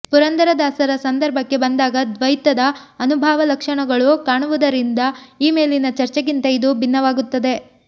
ಪುರಂದರದಾಸರ ಸಂದರ್ಭಕ್ಕೆ ಬಂದಾಗ ದ್ವೈತದ ಅನುಭಾವ ಲಕ್ಷಣಗಳು ಕಾಣುವುದರಿಂದ ಈ ಮೇಲಿನ ಚರ್ಚೆಗಿಂತ ಇದು ಭಿನ್ನವಾಗುತ್ತದೆ